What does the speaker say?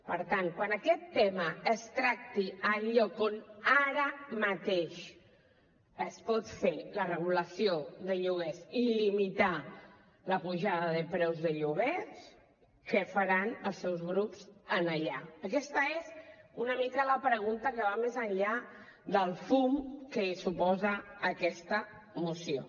per tant quan aquest tema es tracti al lloc on ara mateix es pot fer la regulació de lloguers i limitar la pujada de preus de lloguers què faran els seus grups allà aquesta és una mica la pregunta que va més enllà del fum que suposa aquesta moció